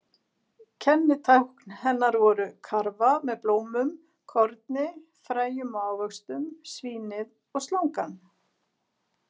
Kennitákn hennar voru: karfa með blómum, korni, fræjum og ávöxtum, svínið og slangan.